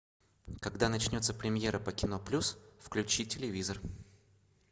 когда начнется премьера по кино плюс включи телевизор